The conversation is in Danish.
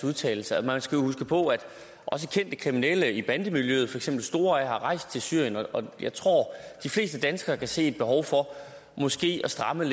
udtalelser man skal jo huske på at også kendte kriminelle i bandemiljøet for eksempel store a er rejst til syrien og jeg tror at de fleste danskere kan se et behov for måske at stramme